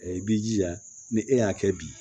i b'i jija ni e y'a kɛ bi